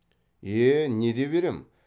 е не деп ерем